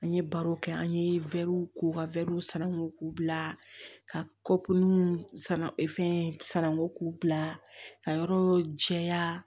An ye barow kɛ an ye wɛriw k'u ka wɛriw san k'o k'u bila ka kɔkɔ sanko k'u bila ka yɔrɔ jɛya